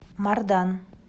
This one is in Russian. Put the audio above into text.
мардан